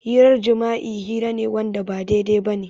Hirar jima'i hira ne Wanda ba daidai bane.